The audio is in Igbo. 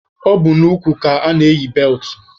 Ọ bụ n'ukwu ka ana-eyi beltụ